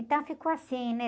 Então ficou assim, né?